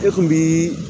E kun bii